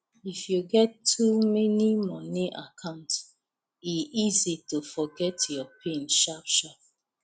if you get too many money account e easy to forget your pin sharpsharp